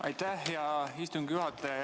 Aitäh, hea istungi juhataja!